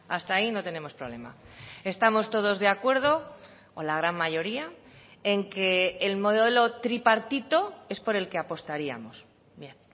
hasta ahí no tenemos problema estamos todos de acuerdo o la gran mayoría en que el modelo tripartito es por el que apostaríamos bien